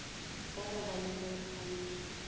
wa go ba le boikgantšho